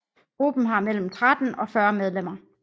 Gruppen har mellem 13 og 40 medlemmer